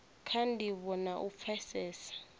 kha ndivho na u pfesesa